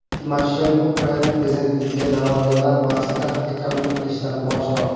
Timoshenko Ukraina prezidentligiga da’vogarlar bahsida hakamlik qilishdan bosh tortdi.